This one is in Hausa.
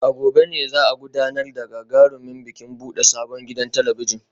A gobe ne za a gudanar da gagarumin bikin bude sabon gidan talabijin